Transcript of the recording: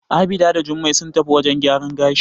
Abida and Jummai sun tafi wajen gyaran gashi.